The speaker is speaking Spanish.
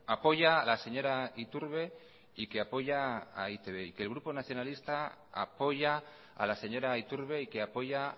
apoya a la señora iturbe y que apoya a e i te be y que el grupo nacionalista apoya a la señora iturbe y que apoya